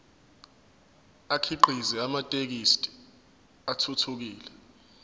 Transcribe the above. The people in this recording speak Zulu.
akhiqize amathekisthi athuthukile